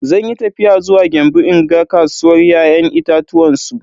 Zanyi tafiya zuwa Gembu in ga kasuwar ya'yan itatuwan su.